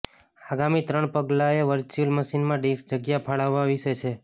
આગામી ત્રણ પગલાંઓ વર્ચ્યુઅલ મશીનમાં ડિસ્ક જગ્યા ફાળવવા વિશે છે